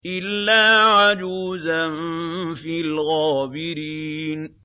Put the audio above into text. إِلَّا عَجُوزًا فِي الْغَابِرِينَ